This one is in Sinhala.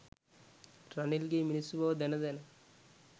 රනිල්ගේ මිනිස්සු බව දැන දැන.